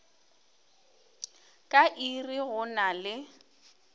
ka iri go na le